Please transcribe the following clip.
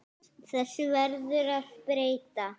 Þessu verður að breyta.